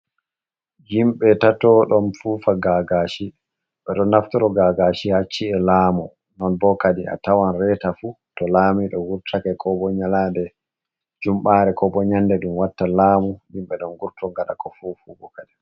Himɓe tato don fufa gagashi. Ɓe ɗo naftoro gagashi haa ci'e laamu. Non bo kadi a tawan reeta fu to lamiɗo wurtake, ko bo nyalande jumɓaare, ko bo nyande ɗum watta laamu, himɓe ɗon vurto ngaɗa ka fufugo kadi.